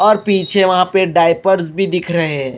और पीछे वहां पे डायपर्स भी दिख रहे हैं।